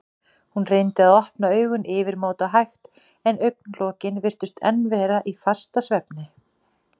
Hún reyndi að opna augun yfirmáta hægt en augnlokin virtust enn vera í fastasvefni.